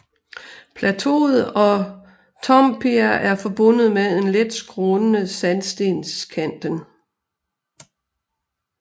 Plateauet og Toompea er forbundet med en let skrånende sandstenskanten